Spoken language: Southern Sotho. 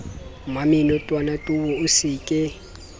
mmamenotwana towe o se ke